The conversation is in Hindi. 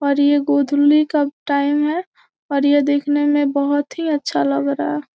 और यह गोधूलि कब टाइम है और यह देखने में बहुत ही अच्छा लग रहा है।